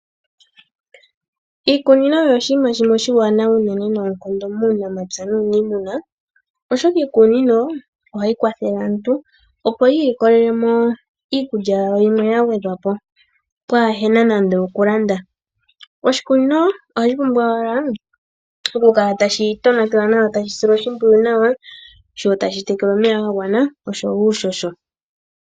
Iikunino oyo oshiima shimwe oshiwanawa unene noonkondo muunamapya nuunimuna oshoka iikunino ohayi kwathele aantu opo yiilikolele mo iikulya yawo yimwe ya gwedhwa po pwaahena nande okulanda. Oshikunino ohashi pumbwa owala okukala tashi tonatelwa nawa tashi silwa oshimpwiyu nawa, sho tashi tekelwa omeya ga gwana osho wo uushosho.